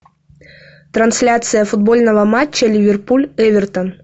трансляция футбольного матча ливерпуль эвертон